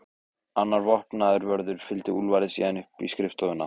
Annar vopnaður vörður fylgdi Úlfari síðan upp í skrifstofuna.